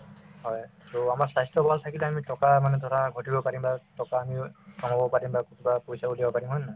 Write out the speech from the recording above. হয়, to আমাৰ স্বাস্থ্য ভাল থাকিলে আমি টকা মানে ধৰা ঘটিব পাৰিম বা টকা আমি kabab পাৰিম বা কিবা পইচা উলিয়াব পাৰিম হয় নে নহয়